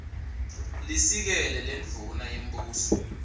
lisekela lendvuna yembuso